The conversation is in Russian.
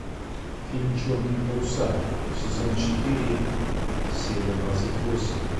фильм черные паруса сезон четыре серия двадцать восемь